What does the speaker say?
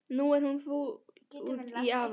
Nú er hún fúl út í afa.